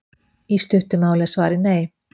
Í stuttu máli er svarið nei.